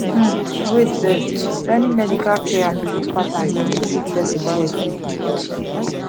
um wait firstjoining medical care and biliv patterns dey mek sik person well quick